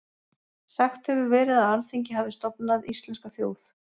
Sagt hefur verið að Alþingi hafi stofnað íslenska þjóð.